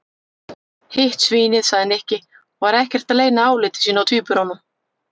Hitt svínið sagði Nikki og var ekkert að leyna áliti sínu á tvíburunum.